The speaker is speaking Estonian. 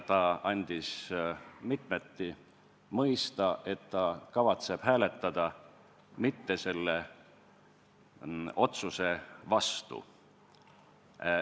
Ta andis mitmeti mõista, et ta kavatseb hääletada mitte selle otsuse vastu.